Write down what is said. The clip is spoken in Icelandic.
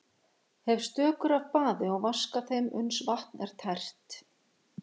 Hef stökur af baði og vaska þeim uns vatn er tært.